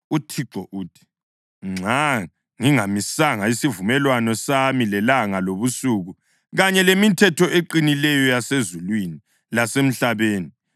UThixo uthi, ‘Nxa ngingamisanga isivumelwano sami lelanga lobusuku kanye lemithetho eqinileyo yasezulwini lasemhlabeni,